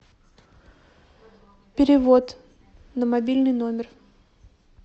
перевод на мобильный номер